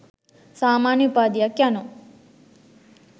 සාමාන්‍ය උපාධියක් යනු